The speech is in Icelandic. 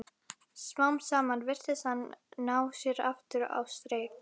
Smám saman virtist hann ná sér aftur á strik.